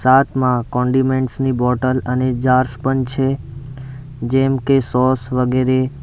સાથમાં condiments ની bottle અને jars પણ છે જેમ કે સોસ વગેરે--